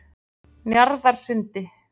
Njarðarsundi